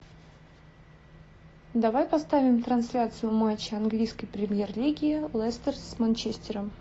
давай поставим трансляцию матча английской премьер лиги лестер с манчестером